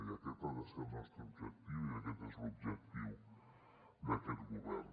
i aquest ha de ser el nostre objectiu i aquest és l’objectiu d’aquest govern